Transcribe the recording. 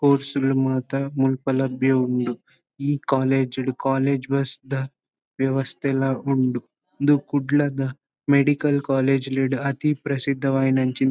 course ಲು ಮಾತ ಮುಲ್ಪ ಲಭ್ಯ ಉಂಡು ಈ ಕಾಲೇಜ್ ಡ್ ಕಾಲೇಜ್ ಬಸ್ ತ ವ್ಯವಸ್ಥೆಲ ಉಂಡು ಇಂದು ಕುಡ್ಲದ ಮೆಡಿಕಲ್ ಕಾಲೇಜ್ ಲೆಡ್ ಅತಿ ಪ್ರಸಿದ್ಧವಾಯಿನಂಚಿ--